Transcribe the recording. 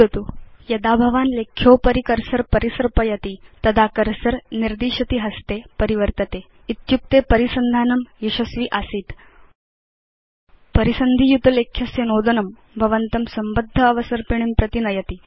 अधुना यदा भवान् लेख्योपरि कर्सर परिसर्पयति तदा कर्सर निर्दिशति हस्ते परिवर्तते इत्युक्ते परिसन्धानं यशस्वि आसीत्160 परिसन्धि युत लेख्यस्य नोदनं भवन्तं संबद्ध अवसर्पिणीं प्रति नयति